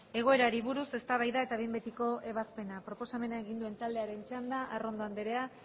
egoerari buruz eztabaida eta behin betiko ebazpena proposamena egin duen taldearen txanda arrondo andrea